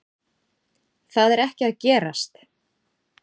Það er ekki að gerast